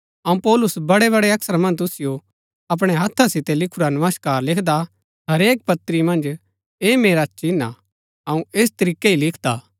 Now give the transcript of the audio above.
अऊँ पौलुस बड़ै बड़ै अक्षरा मन्ज तुसिओ अपणै हत्था सितै लिखुरा नमस्कार लिखदा हरेक पत्री मन्ज ऐह मेरा चिन्ह हा अऊँ ऐस तरीकै ही लिखदा हा